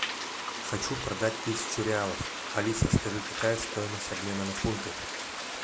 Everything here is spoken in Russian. хочу продать тысячу реалов алиса скажи какая стоимость обмена на фунты